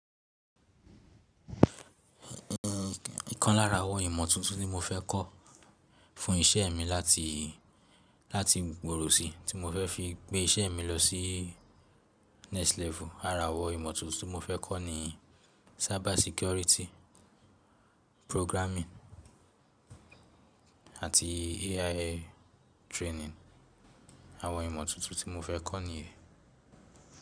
Ìkan lára àwọn ìmọ̀ tuntun tí mo fẹ́ kọ́ fún iṣẹ́ mi láti, láti gboro sí tí mo fẹ́ fi gbé iṣẹ́ mi lọ sí next level, ara àwọn ìmọ̀ tuntun ti mo fẹ́ kọ́ ni cyber security, programming àti AI training. Àwọn ìmọ̀ tuntun tí mo fẹ́ kọ́ nìyẹn.